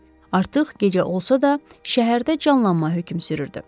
Artıq gecə olsa da, şəhərdə canlanma hökm sürürdü.